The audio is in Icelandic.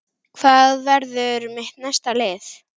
Hvað verður mitt næsta lið?